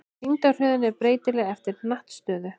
Þyngdarhröðun er breytileg eftir hnattstöðu.